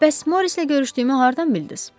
Bəs Morrislə görüşdüyümü hardan bildiz?